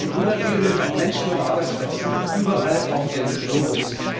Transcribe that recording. Ein Grüner Deal nimmt auch Menschen und Arbeitsplätze mit, überall auf dem Globus.